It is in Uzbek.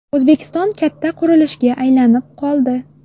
O‘zbekiston katta qurilishga aylanib qoldi.